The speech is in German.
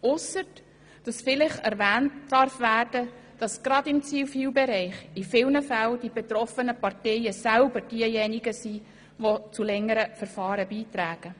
Einzig darf vielleicht erwähnt werden, dass gerade im Zivilbereich in vielen Fällen die betroffenen Parteien selber diejenigen sind, die zu längeren Verfahren beitragen.